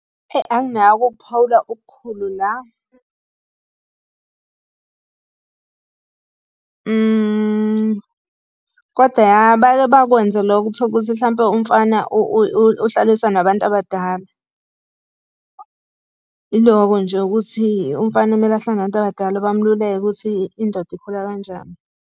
Eyi, anginakho ukuphawula okukhulu la. Koda, ya, bake bakwenze lokho uthole ukuthi hlampe umfana uhlaliswa nabantu abadala. Ilokho nje ukuthi umfana kumele ahlale nabantu abadala bamululeke ukuthi indoda ikhula kanjani.